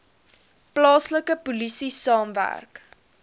plaaslike polisie saamwerk